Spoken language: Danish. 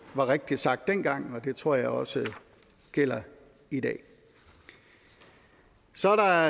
var rigtigt sagt dengang og det tror jeg også gælder i dag så er der